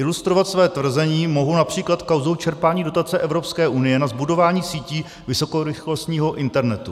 Ilustrovat své tvrzení mohu například kauzou čerpání dotace Evropské unie na zbudování sítí vysokorychlostního internetu.